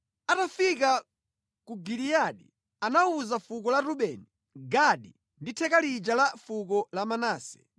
Atafika ku Giliyadi anawuza fuko la Rubeni, Gadi ndi theka lija la fuko la Manase kuti,